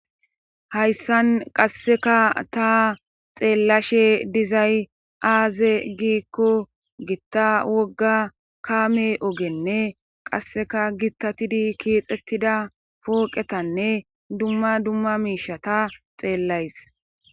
hayssan qasseka ta xeellashe dizay aaze giikko gitta wogga kaame ogenne qasseka gittatidi kiixxettida pooqetanne dumma dumma miisha ta xeellays